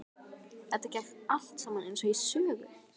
Þetta gekk allt saman eins og í sögu.